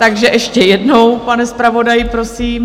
Takže ještě jednou, pane zpravodaji, prosím.